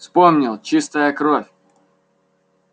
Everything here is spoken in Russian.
вспомнил чистая кровь